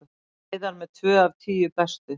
Heiðar með tvö af tíu bestu